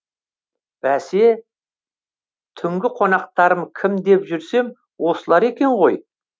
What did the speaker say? бәсе түнгі қонақтарым кім деп жүрсем осылар екен ғой